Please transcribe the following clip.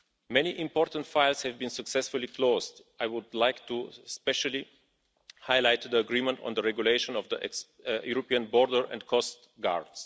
Many important files have been successfully closed. I would like especially to highlight the agreement on the regulation on the European Border and Coast Guard.